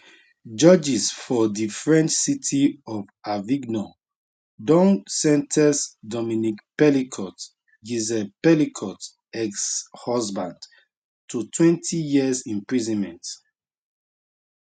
judges for di french city of avignon don sen ten ce dominique pelicot gisele pelicot exhusband totwentyyears imprisonment